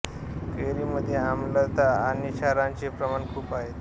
कैरी मध्ये आम्लता आणि क्षाराचे प्रमाण खूप आहे